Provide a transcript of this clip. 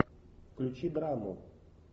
включи драму